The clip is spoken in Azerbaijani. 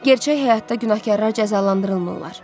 Gerçək həyatda günahkarlar cəzalandırılmırlar.